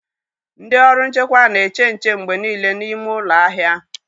Ndị ọrụ nchekwa na-eche nche mgbe niile n'ime ụlọ ahịa